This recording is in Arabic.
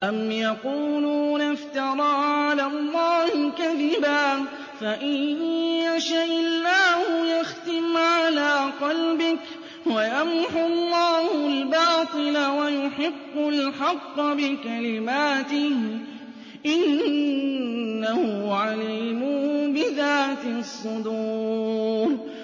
أَمْ يَقُولُونَ افْتَرَىٰ عَلَى اللَّهِ كَذِبًا ۖ فَإِن يَشَإِ اللَّهُ يَخْتِمْ عَلَىٰ قَلْبِكَ ۗ وَيَمْحُ اللَّهُ الْبَاطِلَ وَيُحِقُّ الْحَقَّ بِكَلِمَاتِهِ ۚ إِنَّهُ عَلِيمٌ بِذَاتِ الصُّدُورِ